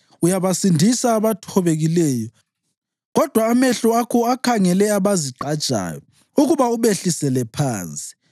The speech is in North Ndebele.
Uyabasindisa abathobekileyo; kodwa amehlo akho akhangele abazigqajayo ukuba ubehlisele phansi.